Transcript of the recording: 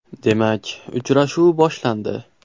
Demak, uchrashuv boshlandi.